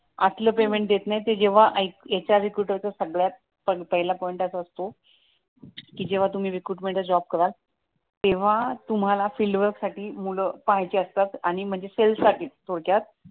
असलं पेमेंट देत नाही ते जेव्हा एच आर रिक्रूटर जेव्हा सगळ्यात पहिला पॉईंट असा असतो कि जेव्हा तुम्ही रिक्रूटमेंट चा जॉब कराल तेव्हा तुम्हाला फील्डवर्क साठी मुलं पाहिजे असतात आणि म्हणजे सेल्स साठीच थोडक्यात